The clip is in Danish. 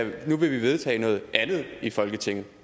vil vi vedtage noget andet i folketinget